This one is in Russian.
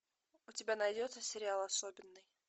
у тебя найдется сериал особенный